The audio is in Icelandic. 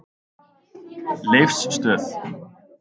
Leifsstöð